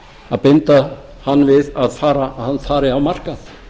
að binda hann við að hann fari á markað